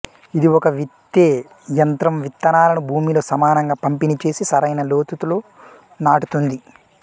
ఇది ఒక విత్తే యంత్రం విత్తనాలను భూమిలో సమానంగా పంపిణీ చేసి సరైన లోతులో నాటుతుంది